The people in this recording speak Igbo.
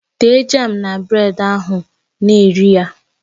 Tee jam na bred ahụ na rie ya